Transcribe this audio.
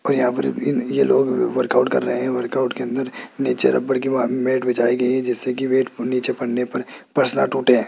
और यहां पर ये लोग वर्कआउट कर रहे हैं वर्कआउट के अंदर नीचे रबड़ की मैट बिछाई गई है जिससे की वेट नीचे पडने पर फर्श न टूटे।